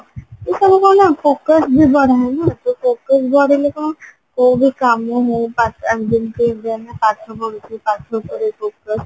ଏଇସବୁ କଣ କହିଲା focus focus ବଢିଲେ କଣ କୋଉ ବି କାମ ହଉ ମାନେ ଯେମତି ଜଣେ ପାଠ ପଢୁଚି ପାଠ ଉପରେ focus